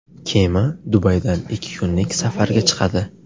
Kema Dubaydan ikki kunlik safarga chiqadi.